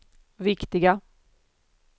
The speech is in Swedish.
viktiga